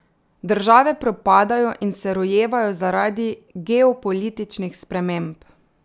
Države propadajo in se rojevajo zaradi geopolitičnih sprememb.